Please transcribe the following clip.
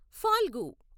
Phalgu